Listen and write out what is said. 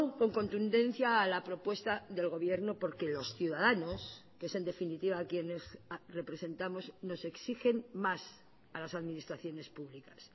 con contundencia a la propuesta del gobierno porque los ciudadanos que es en definitiva a quienes representamos nos exigen más a las administraciones públicas